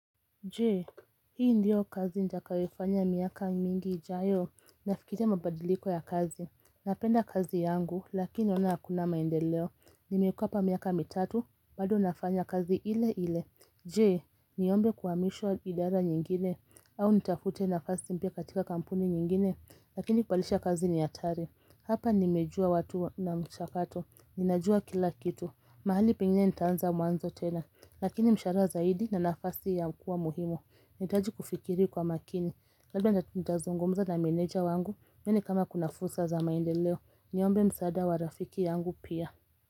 Je, hii ndiyo kazi nitakayofanya miaka mingi ijayo? Nafikiria mabadiliko ya kazi, napenda kazi yangu, lakini naona hakuna maendeleo, nimekuwa hapa miaka mitatu, bado nafanya kazi ile ile, je. Niombe kuhamishwa idara nyingine au nitafute nafasi mpya katika kampuni nyingine lakini kupalisha kazi ni hatari. Hapa nimejua watu na mchakato, ninajua kila kitu, mahali penginye nitaanza mwanzo tena. Lakini mshara zaidi na nafasi ya kuwa muhimu, nahitaji kufikiri kwa makini. Labda nitazungumza na meneja wangu, nione kama kuna fursa za maendeleo, niombe msaada wa rafiki yangu pia.